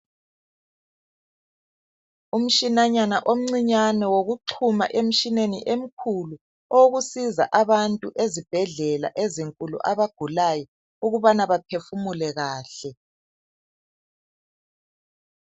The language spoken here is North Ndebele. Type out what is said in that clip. Umshinanyana omcinyane wokuxhuma emtshineni emkhulu owokusiza abantu ezibhedlela ezinkulu abagulayo ukubana baphefumule kahle.